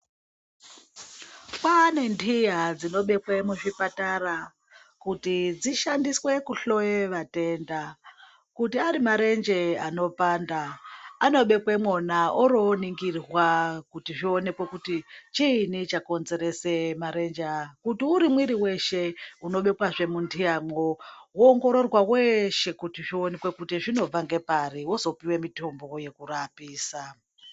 Kwane ntiya dzinobekwe muzvipatara kuti dzishandiswe kuhloye vatenda kuti ari marenje ano panda anobekwe mwona oro oningirwa kuti zvionekwe kuti chinyii chakonzerese marenje aya. Kuti uri mwiri weshe unobekwezve muntiyamwo woongororwe kuti zvinobva ngepari wozopuwe mutombo wekurapisa.